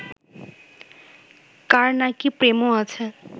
কার নাকি প্রেমও আছে